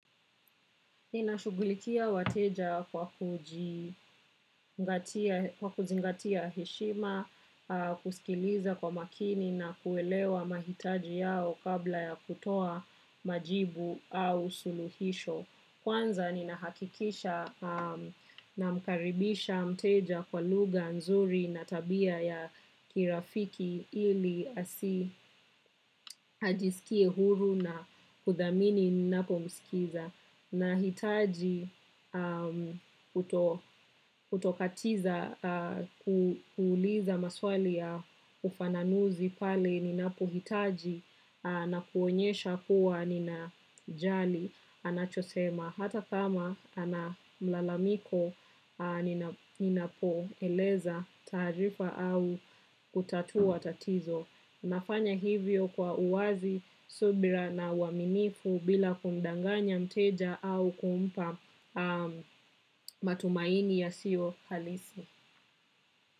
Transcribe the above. Ninashugulikia wateja kwa kuzingatia heshima kuskiliza kwa makini na kuelewa maitaji yao kabla ya kutoa majibu au suluhisho. Kwanza ninahakikisha namkaribisha mteja kwa lugha nzuri na tabia ya kirafiki ili asi ajisikie huru na kudhamini nako msikiza. Nahitaji kuto katiza kuuliza maswali ya ufananuzi pale ninapo hitaji na kuonyesha kuwa ninajali anachosema hata kama ana malalamiko ninapo eleza taarifa au kutatua tatizo. Nafanya hivyo kwa uwazi, subira na uwaminifu bila kumdanganya mteja au kumpa matumaini yasiyo halisi.